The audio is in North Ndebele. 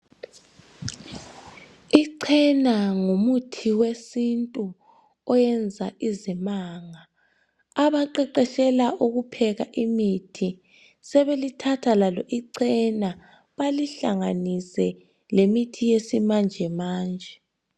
Ichena ngumuthi wesintu oyenza izimanga abaqeqetshela ukupheka imithi sebelithatha lalo icena balihlanganise lemithi yakhathesi